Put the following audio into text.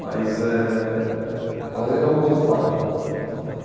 Mas eh quase é um outro pai para mim, foi um outro pai.